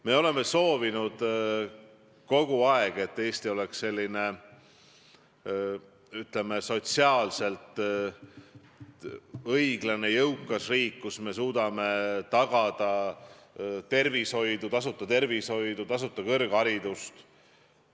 Me oleme kogu aeg soovinud, et Eesti oleks, ütleme, sotsiaalselt õiglane jõukas riik, kus me suudame tagada tasuta tervishoidu ja tasuta kõrgharidust.